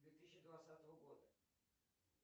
две тысячи двадцатого года